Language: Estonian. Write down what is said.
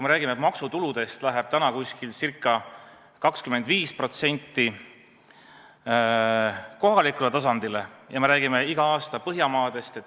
Me räägime, et maksutuludest läheb ca 25% kohalikule tasandile, ja me räägime Põhjamaadest.